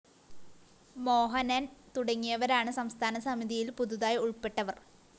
മോഹനന്‍ തുടങ്ങിയവരാണ് സംസ്ഥാന സമിതിയില്‍ പുതുതായി ഉള്‍പ്പെട്ടവര്‍